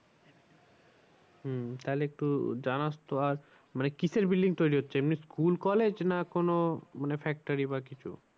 হম তাহলে একটু জানাস তো আর মানে কিসের building তৈরী হচ্ছে এমনি school, college না কোনো মানে factory বা কিছু।